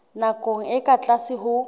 nakong e ka tlase ho